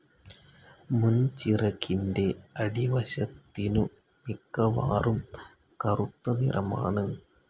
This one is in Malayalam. മുൻചിറകിന്റെ അടിവശത്തിനു മിക്കവാറും കറുത്തനിറമാണ്.